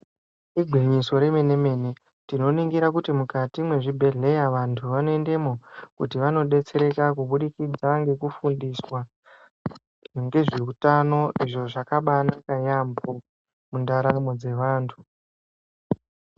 Igwinyiso rwmene mene tinoningira kuti mukati mwezvibhedhleya vantu vanoendemwo kuti vanodetsereka kubudikidza ngekufundiswa ngezveutano izvo zvakabaanaka yaampo mundaramo dzevantu.